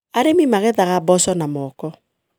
Arĩmi magethaga mboco na moko.